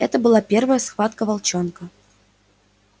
это была первая схватка волчонка